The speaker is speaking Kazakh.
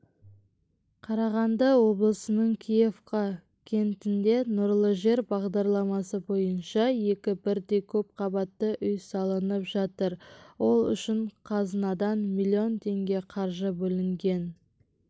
қарағанды облысының киевка кентінде нұрлы жер бағдарламасы бойынша екі бірдей көпқабатты үй салынып жатыр ол үшін қазынадан миллион теңге қаржы бөлінген